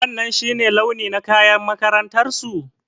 Wanan shi ne launi na kayan makarantar su?